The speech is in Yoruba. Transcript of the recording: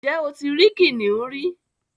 Ǹjẹ́ o ti rí kìnnìún rí?